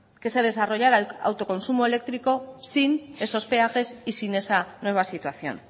que se desarrollara el autoconsumo eléctrico sin esos peajes y sin esa nueva situación